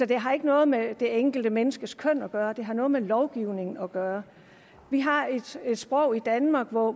det har ikke noget med det enkelte menneskes køn at gøre det har noget med lovgivningen at gøre vi har et sprog i danmark hvor